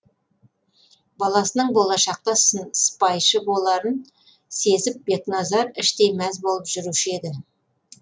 баласының болашақта сыпайшы боларын сезіп бекназар іштей мәз болып жүруші еді